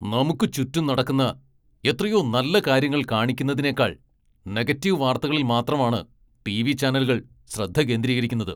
നമുക്ക് ചുറ്റും നടക്കുന്ന എത്രയോ നല്ല കാര്യങ്ങൾ കാണിക്കുന്നതിനേക്കാൾ നെഗറ്റീവ് വാർത്തകളിൽ മാത്രമാണ് ടിവി ചാനലുകൾ ശ്രദ്ധ കേന്ദ്രീകരിക്കുന്നത് .